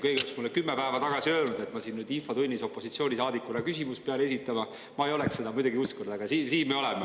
Kui keegi oleks mulle kümme päeva tagasi öelnud, et ma pean nüüd infotunnis opositsioonisaadikuna küsimust esitama, siis ma ei oleks seda kuidagi uskunud, aga siin me oleme.